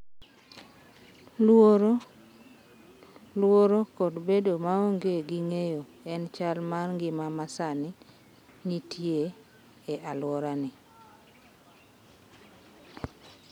Luoro, luoro kod bedo maonge gi ng’eyo en chal mar ngima ma sani nitie e alworani.